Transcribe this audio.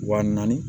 Wa naani